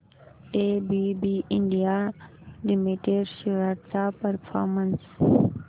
ABB India limited shares चा performance